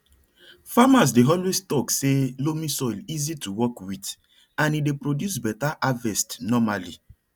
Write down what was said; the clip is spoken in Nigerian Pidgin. farmers dey always talk say loamy soil easy to work with and e dey produce better havest normally